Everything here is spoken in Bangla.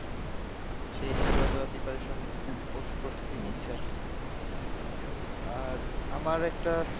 সেই হিসাবে হয়তো preparation প্রস্তুতি নিচ্ছে আর কি, আর আমার একটা,